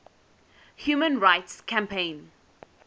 human rights campaign